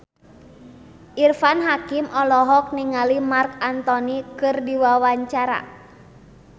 Irfan Hakim olohok ningali Marc Anthony keur diwawancara